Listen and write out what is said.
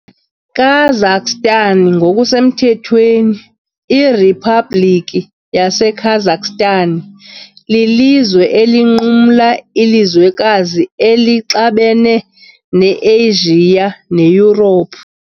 Kazakhstan ngokusemthethweni iRiphabliki yaseKazakhstan, lilizwe elinqumla ilizwekazi elixabene neAsia neYurophu .